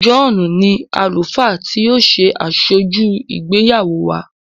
John ní Àlùfáà tí o ṣe Asoju ìgbéyàwó wá.